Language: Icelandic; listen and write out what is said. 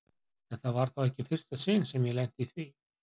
En það var þá ekki í fyrsta sinn sem ég lenti í því.